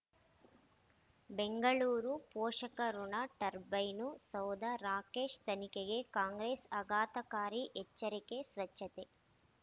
ಬೆಂಗಳೂರು ಪೋಷಕಋಣ ಟರ್ಬೈನು ಸೌಧ ರಾಕೇಶ್ ತನಿಖೆಗೆ ಕಾಂಗ್ರೆಸ್ ಆಘಾತಕಾರಿ ಎಚ್ಚರಿಕೆ ಸ್ವಚ್ಛತೆ